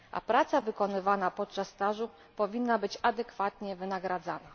Praca wykonywana podczas stażu powinna być adekwatnie wynagradzana.